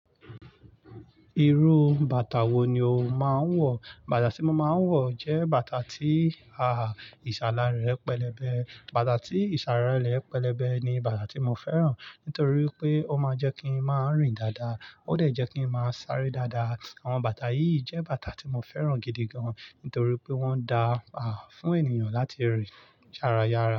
Irú bàtà wo ni o máa ń wọ̀? Bàtà tí mo máa ń wọ̀ jẹ́ bàtà tí, ìsàlà rẹ̀ pẹlẹbẹ. Bàtà tí ìsàlà rẹ̀ pẹlẹbẹ ni bàtà tí mo fẹ́ràn nítorí pé ó máa ń jẹ́ kí n máa rìn dáadáa, ó dà jẹ́ kí n máa sáré dáadáa. Àwọn bàtà yìí jẹ́ bàtà tí mo fẹ́ràn gidi gan nítorí pé wọ́n da, fún ènìyàn láti rìn jára yára.